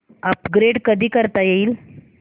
upgrade कधी करता येईल